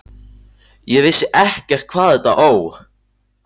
Ég vissi ekkert hvað þetta Ó!